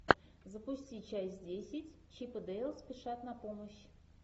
запусти часть десять чип и дейл спешат на помощь